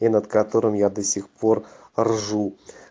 и над которым я до сих пор ржу